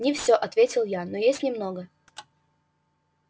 не всё ответил я но есть немного